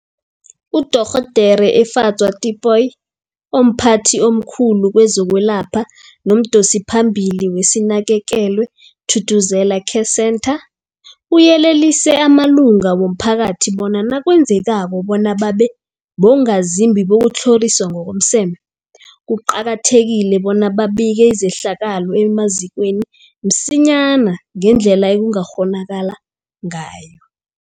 UDorh Efadzwa Tipoy, omphathi omkhulu kezokwelapha nomdosiphambili weSinakekelwe Thuthuzela Care Centre, uyelelise amalunga womphakathi bona nakwenzekako bona babe bongazimbi bokutlhoriswa ngokomseme, kuqakathekile bona babike izehlakalo emazikweni msinyana ngendlela ekungakghonakala ngayo.